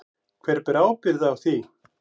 Hver ber ábyrgð á því?